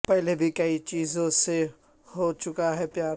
پہلے بھی کئی چیزوں سے ہو چکا ہے پیار